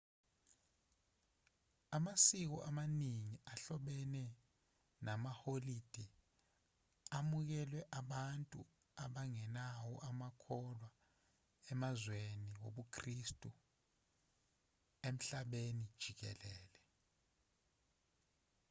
amasiko amaningi ahlobene namaholide amukelwe abantu abangewona amakholwa emazweni wobukhristu emhlabeni jikelele